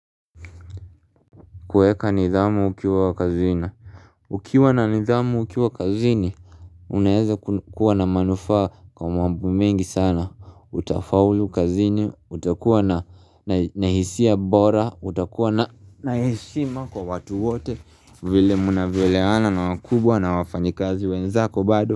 Kueka nidhamu ukiwa kazini Ukiwa na nidhamu ukiwa wakazini Unaeza kuwa na manufaa kwa mambo mengi sana utafaulu kazini utakuwa na hisia bora utakuwa na heshima kwa watu wote vile mnavyo elewana na wakubwa na wafanyi kazi wenzako bado.